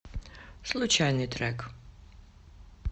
случайный трек